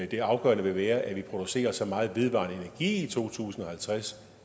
det afgørende vil være at vi producerer så meget vedvarende i to tusind og halvtreds